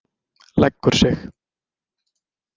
Leggur sig.